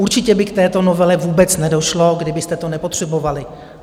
Určitě by k této novele vůbec nedošlo, kdybyste to nepotřebovali.